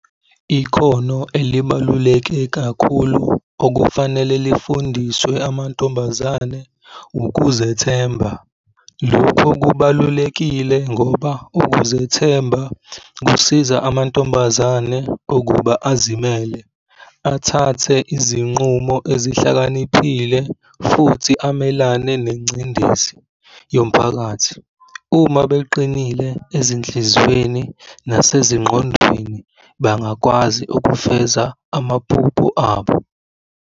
Ikhono elibaluleke kakhulu okufanele lifundiswe amantombazane ukuzethemba. Lokho kubalulekile ngoba ukuzethemba kusiza amantombazane ukuba azimele, athathe izinqumo ezihlakaniphile futhi amelane nengcindezi yomphakathi. Uma beqinile ezinhlizweni nasezingqondweni, bangakwazi ukufeza amaphupho abo.